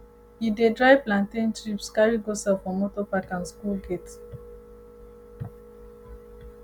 e dey dry plantain chips carry go sell for motor park and school gate